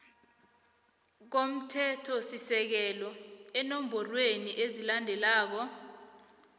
komthethosisekelo eenomborweni ezilandelako